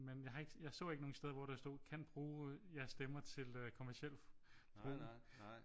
Men jeg har ik jeg så ikke nogle steder hvor der stod kan bruge jeres stemmer til kommerciel brug